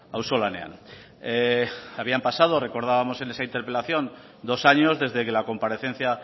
auzolanean habían pasado recordábamos en esa interpelación dos años desde que la comparecencia